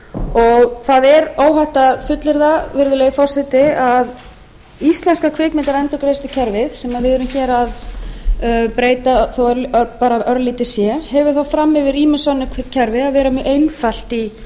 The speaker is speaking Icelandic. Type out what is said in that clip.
og það er óhætt að fullyrða virðulegi forseti að íslenska kvikmyndaendurgreiðslukerfið sem við erum hér að breyta þó bara örlítið sé hefur það fram yfir ýmis önnur kerfi að vera mjög einfalt í